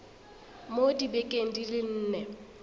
mo dibekeng di le nne